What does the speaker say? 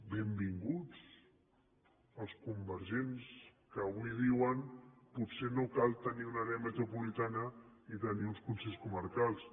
benvinguts els convergents que avui diuen potser no cal tenir una àrea metropolitana ni tenir uns consells comarcals